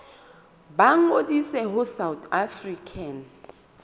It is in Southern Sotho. ba ngodise ho south african